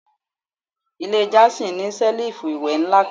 Ile Jason ni selifu iwẹ nla kan